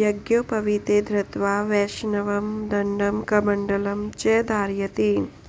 यज्ञोपवीते धृत्वा वैष्णवं दण्डं कमण्डलं च धारयति